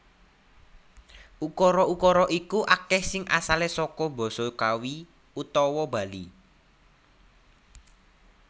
Ukara ukara iku akeh sing asale saka Basa Kawi utawa Bali